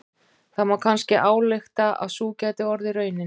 Það má kannski álykta að sú gæti orðið raunin.